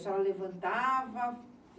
A senhora levantava?